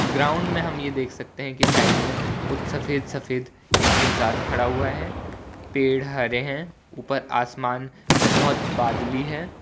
Ground में हम यह देख सकते हैं कि साइड में कुछ सफेद सफेद एक इंसान खड़ा हुआ है पेड़ हरे हैं ऊपर आसमान बहुत बादली है।